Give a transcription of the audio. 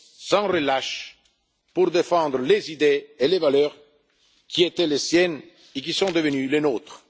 a œuvré sans relâche pour défendre les idées et les valeurs qui étaient les siennes, et qui sont devenues les